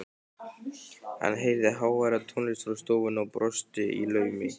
Hann heyrði háværa tónlist frá stofunni og brosti í laumi.